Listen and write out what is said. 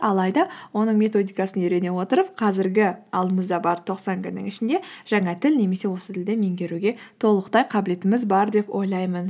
алайда оның методикасын үйрене отырып қазіргі алдымызда бар тоқсан күннің ішінде жаңа тіл немесе осы тілді меңгеруге толықтай қабілетіміз бар деп ойлаймын